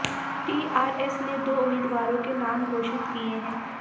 TRS ने दो उम्मीदवारों के नाम घोषित किये हैं